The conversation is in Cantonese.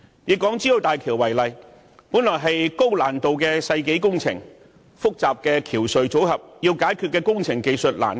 以港珠澳大橋為例，這本是高難度的世紀工程，涉及複雜的橋隧組合，有很多須解決的工程技術難關。